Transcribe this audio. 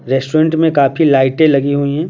Restaurant में काफी लाइटें लगी हुई ।